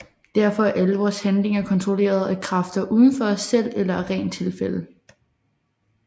Derfor er alle vores handlinger kontrolleret af kræfter uden for os selv eller af rent tilfælde